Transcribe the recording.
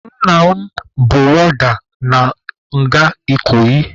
Nna m bụ wọọda na nga Ikoyi.